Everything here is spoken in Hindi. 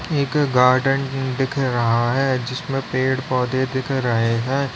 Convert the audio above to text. एक गार्डन दिख रहा है जिसमें पेड़ पौधे दिख रहे हैं।